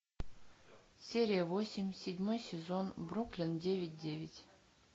серия восемь седьмой сезон бруклин девять девять